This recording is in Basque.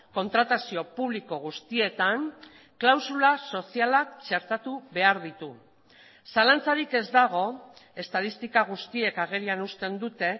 kontratazio publiko guztietan klausula sozialak txertatu behar ditu zalantzarik ez dago estatistika guztiek agerian usten dute